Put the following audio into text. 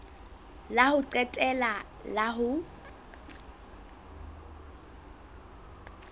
la ho qetela la ho